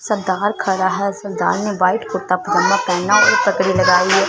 सरदार खड़ा है सरदार ने व्हाइट कुर्ता पायजामा पहना है पगड़ी लगाई है।